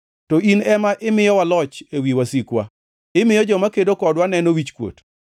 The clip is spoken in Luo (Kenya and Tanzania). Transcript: to in ema imiyowa loch ewi wasikwa, imiyo joma kedo kodwa neno wichkuot.